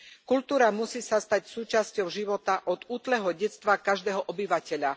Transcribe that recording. Kultúra sa musí stať súčasťou života od útleho detstva každého obyvateľa.